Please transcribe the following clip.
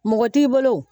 Mɔgɔ t'i bolo